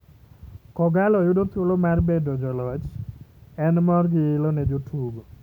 Kogallo yudo thuolo mar bedo joloch, en mor gi ilo ne jotugo.